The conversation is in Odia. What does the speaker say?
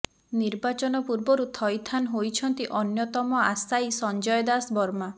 ନିର୍ବାଚନ ପୂର୍ବରୁ ଥଇଥାନ ହୋଇଛନ୍ତି ଅନ୍ୟତମ ଆଶାୟୀ ସଂଜୟ ଦାଶବର୍ମା